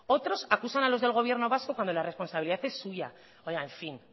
otros acusan a los del gobierno vasco cuando la responsabilidad es suya oiga en fin